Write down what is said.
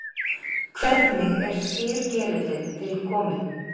Hvernig er skyrgerillinn til kominn?